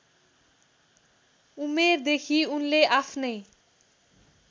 उमेरदेखि उनले आफ्नै